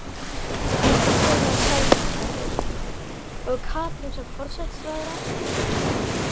Sunna Sæmundsdóttir: Og Katrín sem forsætisráðherra?